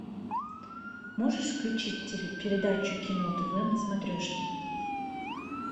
можешь включить передачу кино тв на смотрешке